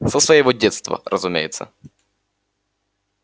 со своего детства разумеется